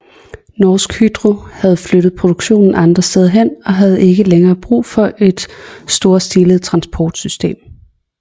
Norsk Hydro havde flyttet produktionen andre steder hen og havde ikke længere brug for et storstilet transportsystem